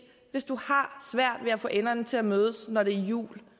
hvis du har svært ved at få enderne til at mødes når det er jul